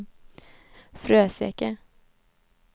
Fröseke